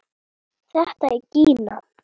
Þetta er Gína!